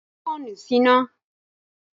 Ki fóònù síná!